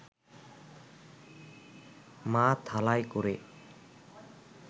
মা থালায় করে